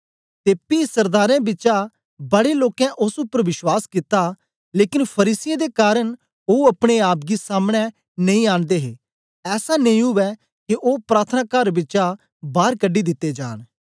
ते पी सरदारें बिचा बड़े लोकें ओस उपर बश्वास कित्ता लेकन फरीसियें दे कारन ओ अपने आप गी सामने नेई आनदे हे ऐसा नेई उवै के ओ प्रार्थनाकार बिचा बार कढी दित्ते जान